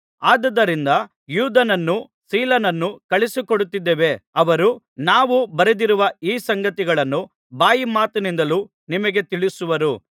ಆದುದರಿಂದ ಯೂದನನ್ನೂ ಸೀಲನನ್ನೂ ಕಳುಹಿಸಿಕೊಡುತ್ತಿದ್ದೇವೆ ಅವರು ನಾವು ಬರೆದಿರುವ ಈ ಸಂಗತಿಗಳನ್ನು ಬಾಯಿಮಾತಿನಿಂದಲೂ ನಿಮಗೆ ತಿಳಿಸುವರು